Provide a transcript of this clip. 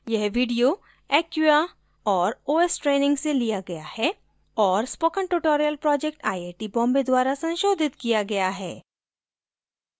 यह video acquia और ostraining से लिया गया है और spoken tutorial project I I T Bombay द्वरा संशोधित किया गया है